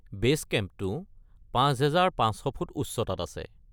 Base কেম্পটো ৫৫০০ ফুট উচ্চতাত আছে।